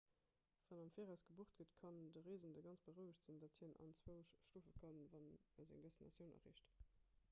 wann am viraus gebucht gëtt kann de reesende ganz berouegt sinn datt hien anzwousch schlofe kann wann e seng destinatioun erreecht